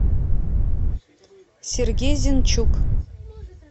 сергей зенчук